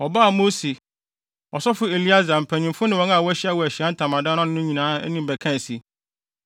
Wɔbaa Mose, ɔsɔfo Eleasar, mpanyimfo ne wɔn a wɔahyia wɔ Ahyiae Ntamadan no ano no nyinaa anim bɛkaa se,